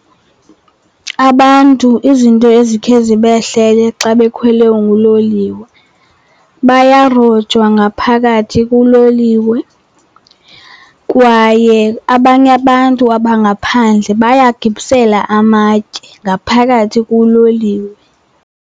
Abantu izinto ezikhe zibehlele xa bekhwele uloliwe, bayarojwa ngaphakathi kuloliwe kwaye abanye abantu abangaphandle bayagibisela amatye ngaphakathi kuloliwe.